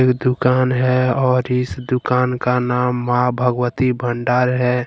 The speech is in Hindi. दुकान है और इस दुकान का नाम मां भगवती भंडार है।